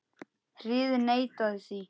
Hirðin neitaði því.